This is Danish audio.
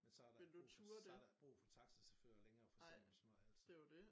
Men så der ikke brug for så der ikke brug for taxacahuffører længere for eksempel sådan noget altså